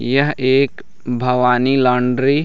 यह एक भवानी लॉन्ड्री --